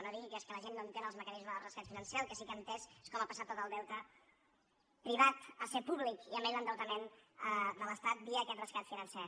no digui que és que la gent no entén els mecanismes del rescat financer el que sí que ha entès és com ha passat tot el deute privat a ser públic i a més l’endeutament de l’estat via aquest rescat financer